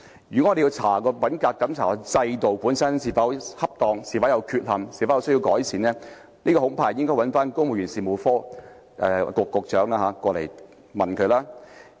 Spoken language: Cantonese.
如果我們要調查品格審查制度本身是否適當、有否不足之處及是否需要改善，恐怕應要傳召公務員事務局局長到來查問。